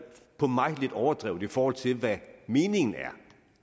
på mig lidt overdrevet set i forhold til hvad meningen